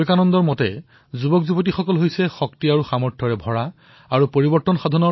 বিবেকানন্দজীৰ মতে তৰুণ সেইজনেই যাৰ হৃদয় শক্তি আৰু উদ্দীপনাৰে পৰা